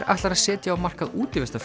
ætlar að setja á markað